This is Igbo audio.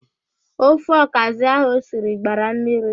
Ofe ọkazị ahụ osiri gbara mmiri.